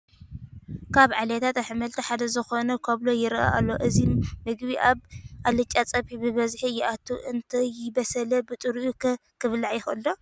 ካብ ዓሌላት ኣሕምልቲ ሓደ ዝኾነ ካብሎ ይርአ ኣሎ፡፡ እዚ ምግቢ ኣብ ኣልጫ ፀብሒ ብበዝሒ ይኣቱ፡፡ እንተይበሰለ ብጥሪኡ ኸ ክብላዕ ይኽእል ዶ?